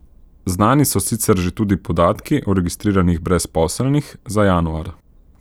Znani so sicer že tudi podatki o registriranih brezposelnih za januar.